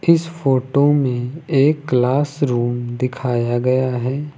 इस फोटो में एक क्लास रूम दिखाया गया है।